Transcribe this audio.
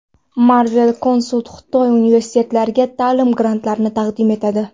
Marvel Consult Xitoy universitetlariga ta’lim grantlarini taqdim etadi!.